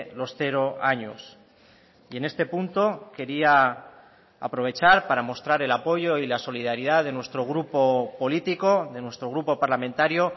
los cero años y en este punto quería aprovechar para mostrar el apoyo y la solidaridad de nuestro grupo político de nuestro grupo parlamentario